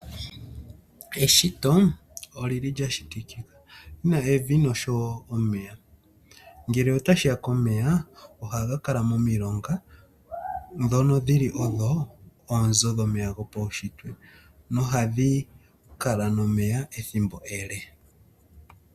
Eshito olili lya shitikika, lina evi nosho wo omeya. Ngele otashiya komeya, ohaga kala momilonga dhono dhili odho oonzo dhomeya dhopaushitwe nohadhi kala nomeya ethimbo ele.